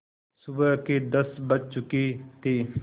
सुबह के दस बज चुके थे